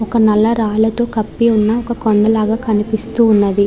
ఒక నల్ల రాళ్లతో కప్పి ఉన్న ఒక కొండ లాగా కనిపిస్తూ ఉన్నది.